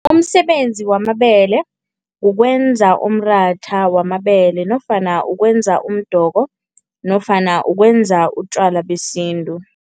Umsebenzi wamabele kukwenza umratha wamabele nofana ukwenza umdoko nofana ukwenza utjwala besintu.